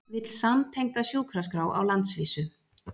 Vill samtengda sjúkraskrá á landsvísu